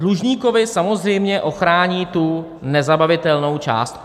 Dlužníkovi samozřejmě ochrání tu nezabavitelnou částku.